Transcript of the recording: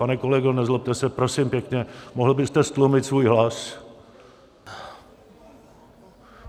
Pane kolego, nezlobte se, prosím pěkně, mohl byste ztlumit svůj hlas?